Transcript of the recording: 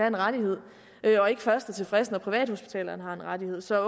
en rettighed og ikke først er tilfreds når privathospitalerne har en rettighed så